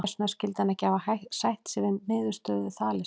Hvers vegna skyldi hann ekki hafa sætt sig við niðurstöðu Þalesar?